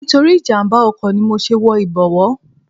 Nítorí ìjàmbá oko ni mo ṣe ń wọ ibowo.